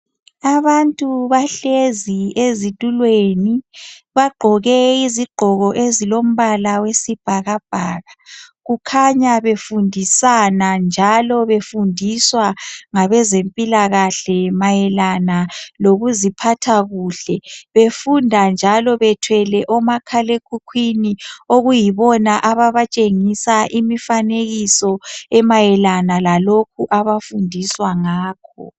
abantu bahlezi ezitulweni bagqoke iozigqoko ezilombala wesibhakabhaka kukhanya befundisana njalo befundiswa nagbezempilakahle mayelana lokuziphatha kuhle befunda njalo bethwele omakhala ekhukhwini okuyibona ababatshengisa imifanekiso emayelana lalokho abafundiswa ngakho